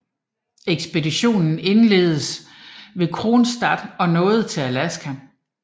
Ekspeditionen indledtes ved Kronstadt og nåede til Alaska